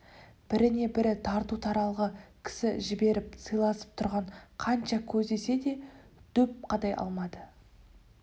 біріне-бірі тарту таралғы кісі жіберіп сыйласып тұрған қанша көздесе де дөп қадай алмады